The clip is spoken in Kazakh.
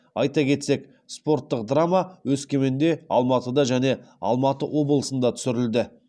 айта кетсек спорттық драма өскеменде алматыда және алматы облысында түсірілді